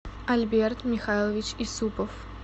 альберт михайлович юсупов